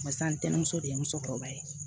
Barisa ntɛnɛnmuso de ye musokɔrɔba ye